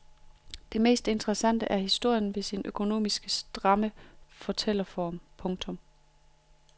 Mest interessant er historien ved sin økonomisk stramme fortælleform. punktum